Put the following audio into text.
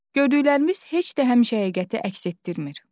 Gördüklərimiz heç də həmişə həqiqəti əks etdirmir.